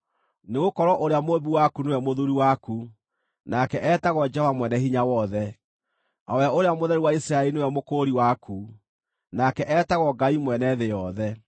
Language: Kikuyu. Nĩgũkorwo ũrĩa Mũũmbi waku nĩwe mũthuuri waku, nake etagwo Jehova Mwene-Hinya-Wothe, o we Ũrĩa Mũtheru wa Isiraeli nĩwe Mũkũũri waku; nake etagwo Ngai mwene thĩ yothe.